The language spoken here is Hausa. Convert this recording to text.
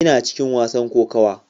Ina cikin wasan kokawa.